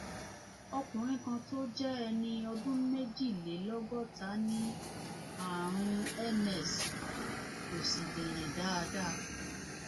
ọkùnrin kan tó jẹ ẹni ọdún méjìlélọgọta ní ààrùn ms kò sì lè rìn dáadáa